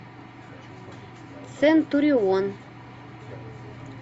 центурион